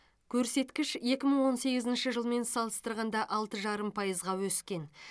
көрсеткіш екі мың он сегізінші жылмен салыстырғанда алты жарым пайызға өскен